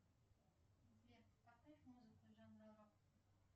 сбер поставь музыку жанра рок